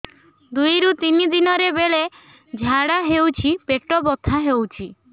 ଦୁଇରୁ ତିନି ଦିନରେ ବେଳେ ଝାଡ଼ା ହେଉଛି ପେଟ ବଥା ହେଉଛି